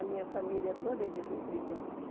A minha família toda é de Rio Brilhante.